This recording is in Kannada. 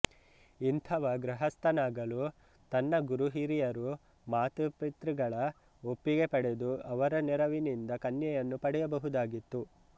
ಇಂಥವ ಗೃಹಸ್ಥನಾಗಲು ತನ್ನ ಗುರುಹಿರಿಯರು ಮಾತಾಪಿತೃಗಳ ಒಪ್ಪಿಗೆ ಪಡೆದು ಅವರ ನೆರವಿನಿಂದ ಕನ್ಯೆಯನ್ನು ಪಡೆಯಬಹುದಾಗಿತ್ತು